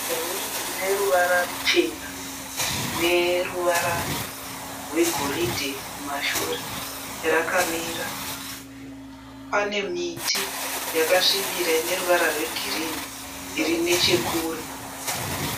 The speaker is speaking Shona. Rori ine ruvara ruchena neruvara rwegoridhe kumashure rakamira. Pane miti yakasvibira ine ruvara rwegirinhi iri nechekure.